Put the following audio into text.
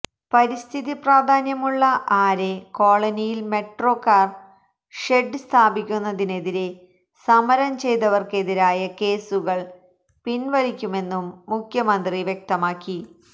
പരിസ്ഥിതി പ്രാധാന്യമുള്ള ആരേ കോളനിയില് മെട്രോ കാര് ഷെഡ് സ്ഥാപിക്കുന്നതിനെതിരെ സമരം ചെയ്തവര്ക്കെതിരായ കേസുകള് പിന്വലിക്കുമെന്നും മുഖ്യമന്ത്രി വ്യക്തമാക്കി